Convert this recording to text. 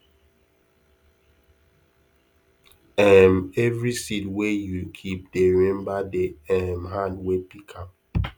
um every seed wey you keep dey remember the um hand wey pick am